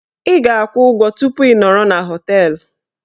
Ị ga-akwụ ụgwọ tupu ị nọrọ na họteelụ